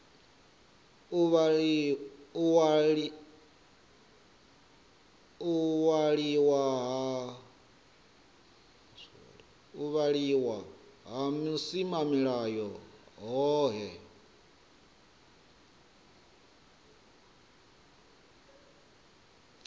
u waliwa ha vhusimamilayo hohe